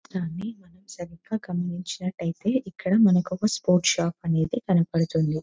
చిత్రాన్ని మనం సరిగ్గా గమనించినట్లయితే ఇక్కడ మనకొక స్పోర్ట్స్ షాప్ అనేది కనపడుతుంది.